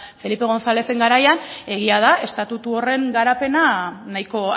felipe gonzálezen garaian egia da estatutu horren garapena nahiko